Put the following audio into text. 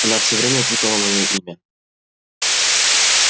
она все время путала моё имя